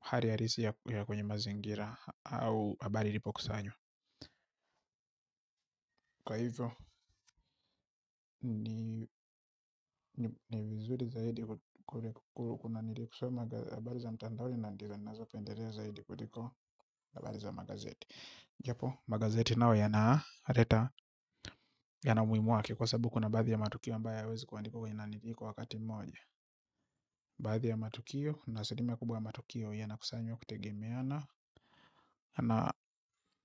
hali alisi ya kwenye mazingira au habari ilipo kusanywa. Kwa hivyo ni vizuri zaidi kuna nirikusua magazi habari za mtandaoni na ndio ninazo pendelea zaidi kutiko habari za magazeti. Japo magazeti nayo ya na leta yana umuhimu wake. Kwa sababu kuna baadhi ya matukio ambayo hayawezi kuandikwa kwenye na niriko wakati moja. Baadhi ya matukio na asali mia kubwa matukio ya na kusanywa kutegemeana. Na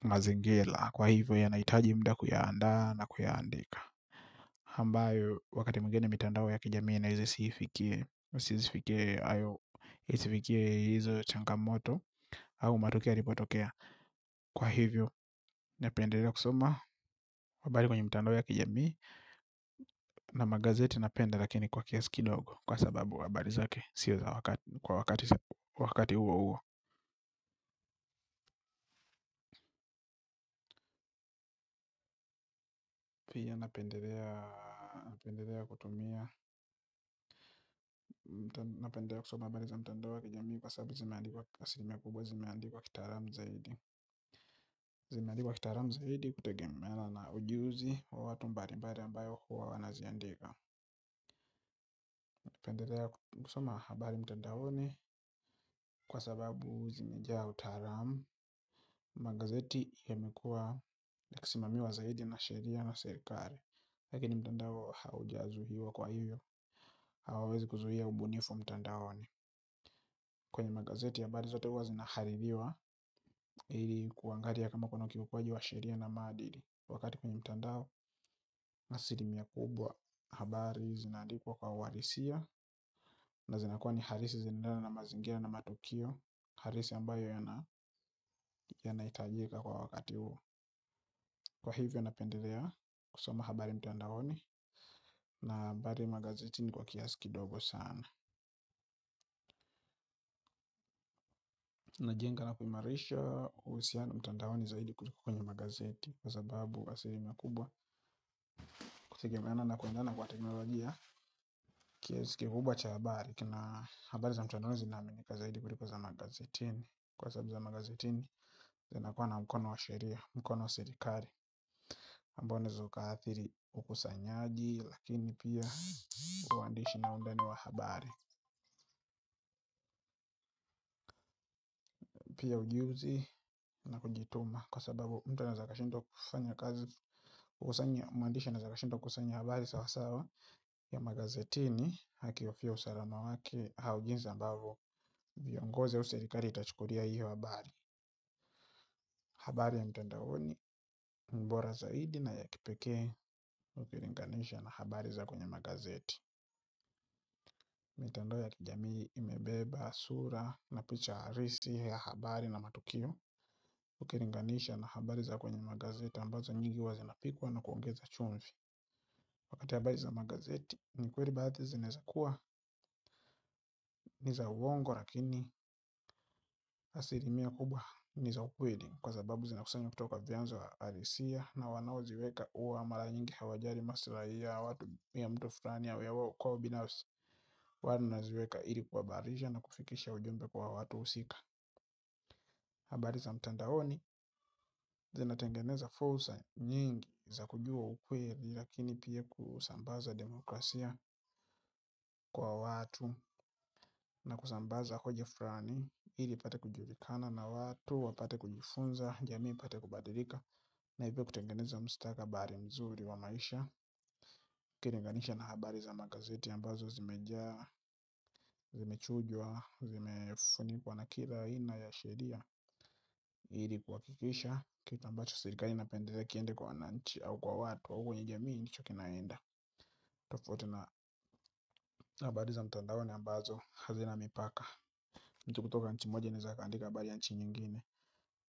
mazingira kwa hivyo yanahitaji muda kuyaanda na kuya andika ambayo wakati mwingeni mitandao ya kijamii na hii sifike hizi isifikie hizi changa moto au matukio yalipotokea kwa hivyo napendelea kusoma wa mbali kwenye mitandao ya kijamii na magazeti napenda lakini kwa kiasi kidogo kwa sababu habari zake sio za wakati huo huo pija napendelea napendelea kutumia napendelea kusoma habari za mitandao ya kijamii kwa sababu zimeandikwa asili kubwa zimeandikuwa kitaalam zaidi zimeandikwa kitaalam zaidi kutegemea na ujuzi wa watu mbalimabli wanaoziandika nqendelea kusoma habari mtandaoni kwa sababu zimejaa utaalam. Magazeti yamekua yakisimamiwa zaidi na sheria na serikali. Lakini mtandao haujazuiwa kwa hiyo hawawezi kuzuia ubunifu mtandaoni. Kwenye magazeti habari zote huwa zinahaririwa ili kuangalia kama kuna ukiukwaji wa sheria na maadili kwa wakati kwenye mtandao, asili mia kubwa habari zina andikwa kwa uhalisia na zinakuwa ni halisi zinaendana na mazingira na matukio halisi ambayo yana hitajika kwa wakati huo kwa hivyo napendelea kusoma habari mtandaoni na habari magazeti ni kwa kiasi kidogo sana na jenga na kuimarisha uhusiano mtandaoni zaidi kuliko kwenye magazeti kwa sababu asili mia kubwa hutegemeana na kuendana kwa teknologia kiasi kikubwa cha habari kina habari za mtandaoni zinaminika zaidi kuliko za magazetini kwa sababu za magazetini zinakua na mkono wa sheria, mkono wa serikari ambao unaezo ukaathiri ukusanyaji lakini pia uandishi na undani wa habari pia ujiuzi na kujituma kwa sababu mtu anaeza akashindwa kufanya kazi mwandishi anaweza akashindwa kukusanya habari sawasawa ya magazetini akihofia usalama wake au jinsi ambavyo viongozi au serikali itachukulia hiyo habari. Habari ya mtandaoni ni bora zaidi na ya kipekee ukilinganisha na habari za kwenye magazeti. Mitndao ya kijamii, imebeba, sura, na picha halisi ya habari na matukio, ukilinganisha na habari za kwenye magazeti ambazo nyingi huwa zinapikwa na kuongezwa chumvi. Wakati habari za magazeti, ni kweli baadhi zinaeza kuwa, niza uongo lakini, asili mia kubwa, niza ukweli. Kwa sababu zina kusanywa kutoka vianzo halisia na wanao ziweka huwa mara nyingi hawajali maslahi ya watu ya mtu fulani au ya wa uko ubinafsi. Wana ziweka ili kuhabarisha na kufikisha ujumbe kwa watu husika. Habari za mtandaoni zina tengeneza fursa nyingi za kujua ukweli lakini pia kusambaza demokrasia kwa watu. Na kusambaza hoja fulani ili ipate kujulikana na watu wapate kujifunza jamii ipate kubadilika. Na hivyo kutengeneza mstakabali mzuri wa maisha ukilinganisha na habari za magazeti ambazo zimejaa zimechujwa zimefunikwa na kila aina ya sheria ili kuhakikisha kitu ambacho serikali inapendelea kiende kwa wananchi au kwa watu au kwenye jamii ndicho kinaenda. Tofauti na habari za mtandaoni ambazo hazina mipaka mtu kutoka nchi moja anaeza akaandika habari ya nchi nyingine.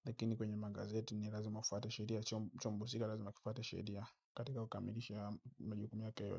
Lakini kwenye magazeti ni lazima ufwate sheria. Chombo husika lazima kifwate sheria katika kukamilisha majukumu yake.